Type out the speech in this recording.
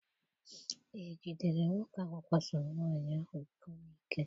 Ejidere nwoke ahụ kwasoro nwaanyị ahụ iko n'ike?